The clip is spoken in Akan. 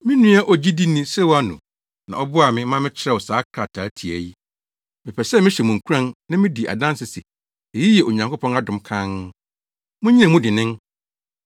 Me nua ogyidini Silwano na ɔboaa me ma mekyerɛw saa krataa tiaa yi. Mepɛ sɛ mehyɛ mo nkuran na midi adanse se eyi yɛ Onyankopɔn adom kann. Munnyina mu dennen.